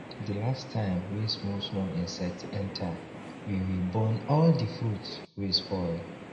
the last time wey small small insects enter we we burn all the fruits wey spoil